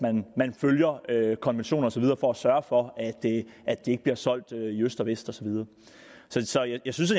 man følger konventioner og så videre for at sørge for at det ikke bliver solgt i øst og vest og så videre så jeg synes